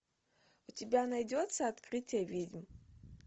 у тебя найдется открытие ведьм